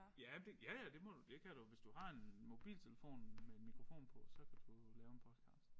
Ja men det ja ja det må du det kan du hvis du har en mobiltelefon med mikrofon på så kan du lave en podcast